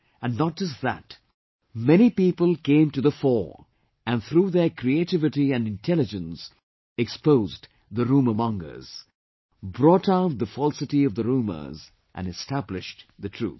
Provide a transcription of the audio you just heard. And not just that, many people came to the fore and through their creativity and intelligence, exposed the rumour mongers, brought out the falsity of the rumours and established the truth